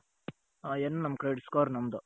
ಆ ಏನು credit score ನಮ್ಮದು.